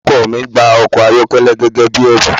Ọkọ mi gba ọkọ-ayokele gẹ́gẹ́ bí ẹ̀bùn.